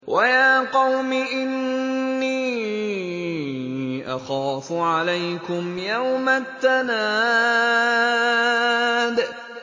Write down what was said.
وَيَا قَوْمِ إِنِّي أَخَافُ عَلَيْكُمْ يَوْمَ التَّنَادِ